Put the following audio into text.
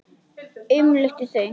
Umlukti þau öll.